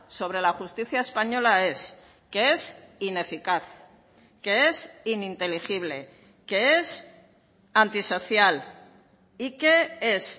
sobre la justicia española es que es ineficaz que es ininteligible que es antisocial y que es